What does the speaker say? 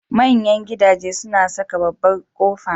Manyan gidaje suna saka babbar kofa.